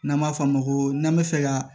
N'an b'a f'a ma ko n'an bɛ fɛ ka